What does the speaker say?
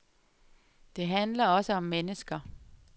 Det handler også om mennesker.